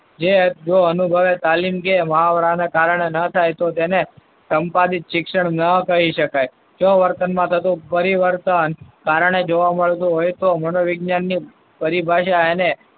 જો અનુભવ તાલીમ કે મહાવરાને કારણે ન થાય તો તેને સંપાદિત શિક્ષણ ન કહી શકાય. સ્વવર્તનમાં થતો પરિવર્તન કારણે જોવા મળતું હોય તો મનોવિજ્ઞાનની પરિભાષા એને,